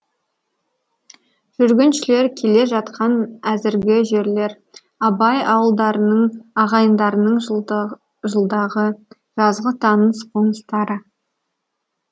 жүргіншілер келе жатқан әзіргі жерлер абай ауылдарының ағайындарының жылдағы жазғы таныс қоныстары